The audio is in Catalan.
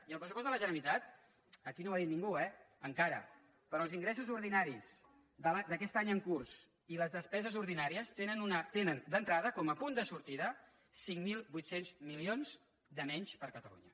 i el pressupost de la generalitat aquí no ho ha dit ningú eh encara però els ingressos ordinaris d’aquest any en curs i les despeses ordinàries tenen d’entrada com a punt de sortida cinc mil vuit cents milions de menys per a catalunya